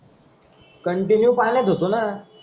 Continue पाण्यात होतो ना.